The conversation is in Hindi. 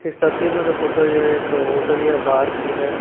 इस तस्वीर में जो फोटो यह एक होटल या बार की है।